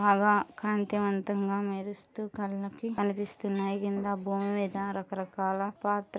బాగా కాంతివంతంగా మెరుస్తూ కళ్ళకి కనిపిస్తున్నాయి. కింద భూమి మీద రకరకాల పాత్ర--